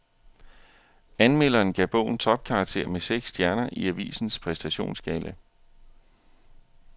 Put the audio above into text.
Anmelderen gav bogen topkarakter med seks stjerner i avisens præstationsskala.